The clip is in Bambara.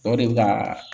O de bɛ ka